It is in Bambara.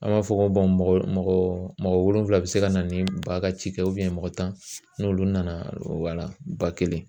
An b'a fɔ ko mɔgɔ mɔgɔ wolonvila bɛ se ka na ni ba ka cikɛ mɔgɔ tan n'olu nana, o wala